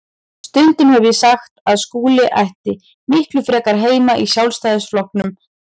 Stundum hef ég sagt að Skúli ætti miklu frekar heima í Sjálfstæðisflokknum en